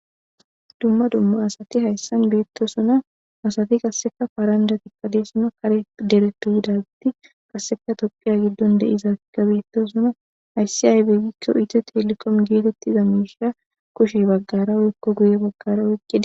Dumma dumma asati haysan beetosona. Asati qasse paranjatika doosona. Kare derepe yidageti qasseka Tophiya giddon de'iyagetika beetosona. Hayssika aybe gizaysa gidiko Ethiotelcom gizaysa kushen woyko guye baggara oykida.